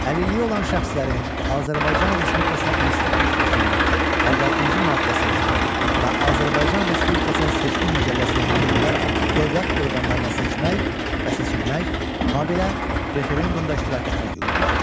Əlilliyi olan şəxslərin Azərbaycan Respublikası Konstitusiyasının 56-cı maddəsinə və Azərbaycan Respublikasının seçki məcəlləsinə uyğun olaraq dövlət orqanlarına seçmək və seçilmək, habelə referendumda iştirak etmək hüququ var.